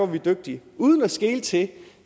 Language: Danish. vi dygtige uden at skele til